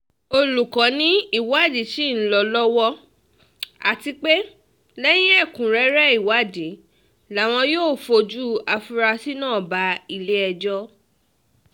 alūkó um ni ìwádìí ṣì ń lọ lọ lọ́wọ́ àti pé lẹ́yìn ẹ̀kúnrẹ́rẹ́ ìwádìí làwọn um yóò fojú afurasí náà bá ilé-ẹjọ́